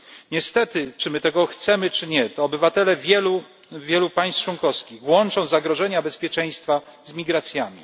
Niestety, czy my tego chcemy, czy nie, to obywatele wielu państw członkowskich łączą zagrożenia bezpieczeństwa z migracjami.